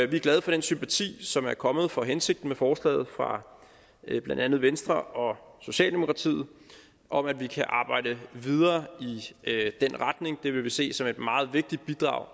vi er glade for den sympati som er kommet for hensigten med forslaget fra blandt andet venstre og socialdemokratiet om at vi kan arbejde videre i den retning det vil vi se som et meget vigtigt bidrag